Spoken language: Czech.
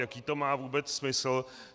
Jaký to má vůbec smysl?